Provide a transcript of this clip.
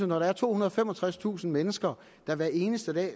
når der er tohundrede og femogtredstusind mennesker der hver eneste dag